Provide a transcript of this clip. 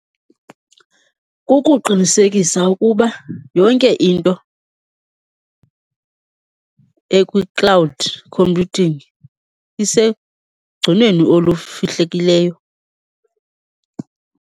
Kukuqinisekisa ukuba yonke into ekwi-cloud computing isegcinweni olufihlekileyo.